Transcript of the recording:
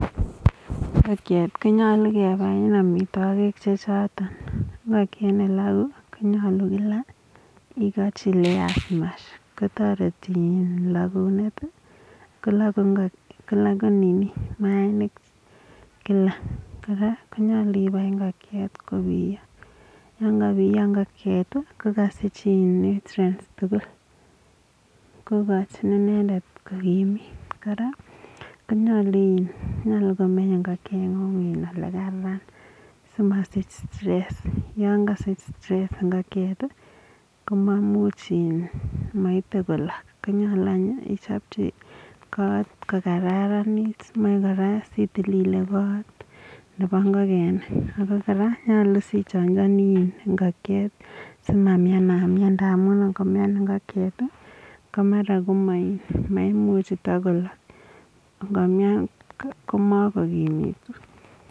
Ingokiek konyalu kebae amwitakik chee chotok ingokiek nee laku konyalu kila iikachii layers mash kotareti lakunet kolaku maainik kila kora konyalu ipaii ingokiet kopiya yangapiya ingokiet kokasich nutrients tugul kokachin inendet kokimit kora konyalu komeny ingokiet nguu ole kararan sii masich stress yangasich ingokiet komamuch maite kolak konyalu ichapchi koto kokararanit meche koraa itililii kot nepo ingokenik ako koraa konyalu sii ijanjanii ingokiek sii mamianmian amuu ngo mian ingokiet ko mara komakomuchii kolak ngo mian makokimitu